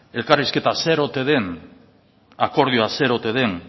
elkarrizketa zer ote den akordioa zer ote den